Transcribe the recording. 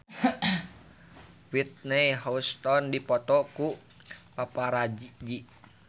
Whitney Houston dipoto ku paparazi